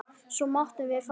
Svo máttum við fara.